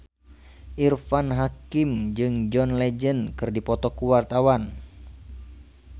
Irfan Hakim jeung John Legend keur dipoto ku wartawan